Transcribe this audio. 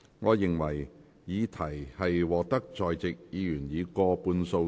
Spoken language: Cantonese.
我認為議題獲得在席議員以過半數贊成。